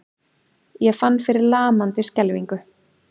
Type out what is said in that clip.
Ég fann fyrir lamandi skelfingu.